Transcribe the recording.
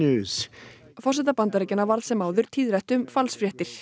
forseta Bandaríkjanna varð sem áður tíðrætt um falsfréttir